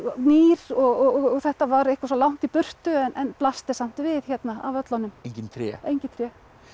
nýr og þetta var eitthvað svo langt í burtu en blasti samt við hérna af völlunum engin tré engin tré